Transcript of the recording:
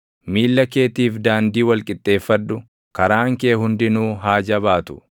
Miilla keetiif daandii wal qixxeeffadhu; karaan kee hundinuu haa jabaatu.